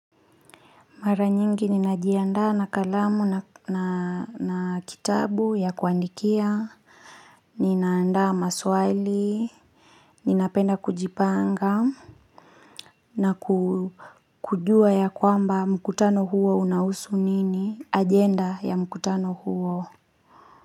Mara nyingi ninajiandaa na kalamu na kitabu ya kuandikia, ninaandaa maswali, ninapenda kujipanga, na ku kujua yakwamba mkutano huo unausu nini, agenda ya mkutano huo.